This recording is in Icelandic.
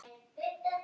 Skelli í gólfið.